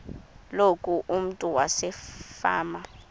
loku umntu wasefama